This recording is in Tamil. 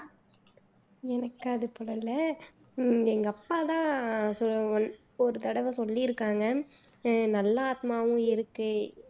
எனக்கு அது போல் இல்ல உம் எங்க அப்ப தான் சொல் ஒரு தடவை சொல்லியிருக்காங்க நல்ல ஆத்மாவும் இருக்கு